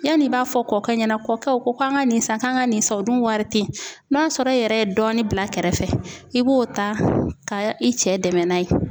Yanni i b'a fɔ kɔkɛ ɲɛna ,kɔkɛ u ko an ka nin san kan ka nin san , o dun wari te yen n'a sɔrɔ e yɛrɛ ye dɔɔnin bila kɛrɛfɛ i b'o ta ka i cɛ dɛmɛ n'a ye.